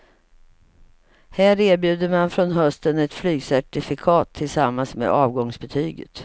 Här erbjuder man från hösten ett flygcertifikat tillsammans med avgångsbetyget.